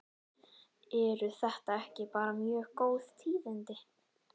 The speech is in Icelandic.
Eru þetta ekki bara mjög góð tíðindi?